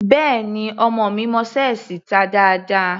Béẹ̀ni, ọmọ mi mọ ṣẹ́ẹ̀sì ta dáadáa.